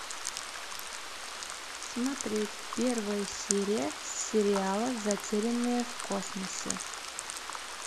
смотреть первая серия сериала затерянные в космосе